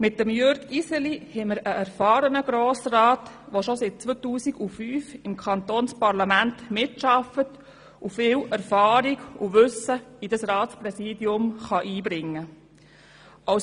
Mit Jürg Iseli haben wir einen erfahrenen Grossrat, der schon seit 2005 im Kantonsparlament mitarbeitet und viel Erfahrung und Wissen in dieses Ratspräsidium einbringen kann.